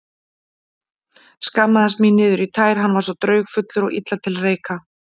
Skammaðist mín niður í tær, hann var svo draugfullur og illa til reika.